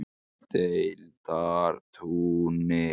Deildartúni